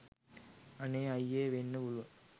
අනේ අය්යේ වෙන්න පුළුවන්.